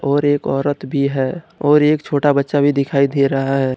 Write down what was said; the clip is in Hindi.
और एक औरत भी है और एक छोटा बच्चा भी दिखाई दे रहा है।